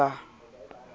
e ba ho na le